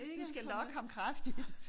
Du skal lokke ham kraftigt